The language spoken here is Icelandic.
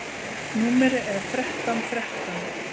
Númerið er þrettán þrettán.